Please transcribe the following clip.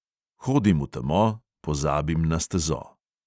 Hodim v temo, pozabim na stezo.